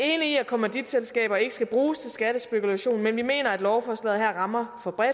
i at kommanditselskaber ikke skal bruges til skattespekulation men vi mener at lovforslaget her rammer for bredt og